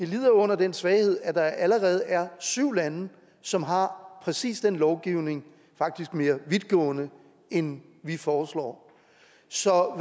lider under den svaghed at der allerede er syv lande som har præcis den lovgivning faktisk mere vidtgående end vi foreslår så